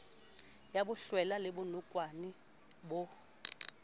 ya bohlwela le bonokwane bo